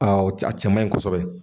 o c a cɛ man yi kɔsɛbɛ.